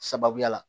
Sababuya la